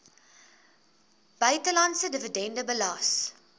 buitelandse dividend belas